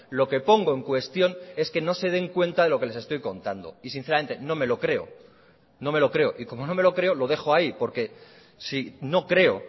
lo que pongo en cuestión es que no se den cuenta de lo que les estoy contando y sinceramente no me lo creo no me lo creo y como no me lo creo lo dejó ahí porque si no creo